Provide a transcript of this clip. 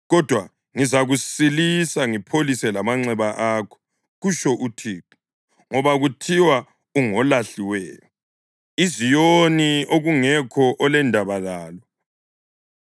Kodwa ngizakusilisa ngipholise lamanxeba akho,’ kutsho uThixo, ‘ngoba kuthiwa ungolahliweyo, iZiyoni okungekho olendaba lalo.’